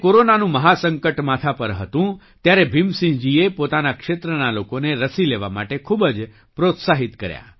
જ્યારે કોરોનાનું મહા સંકટ માથા પર હતું ત્યારે ભીમસિંહજીએ પોતાના ક્ષેત્રના લોકોને રસી લેવા માટે ખૂબ જ પ્રોત્સાહિત કર્યા